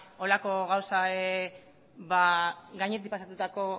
holako gauza gainetik pasatutako